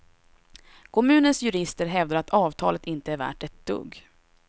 Kommunens jurister hävdar att avtalet inte är värt ett dugg.